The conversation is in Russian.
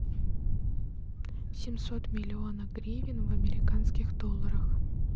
семьсот миллионов гривен в американских долларах